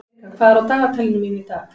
Erika, hvað er á dagatalinu mínu í dag?